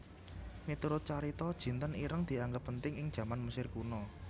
Miturut carita jinten ireng dianggep penting ing jaman Mesir Kuna